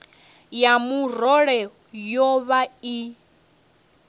ya murole yo vha i